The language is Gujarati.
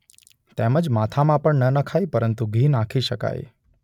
તેમજ માથામાં પણ ન નખાય પરંતુ ઘી નાખી શકાય.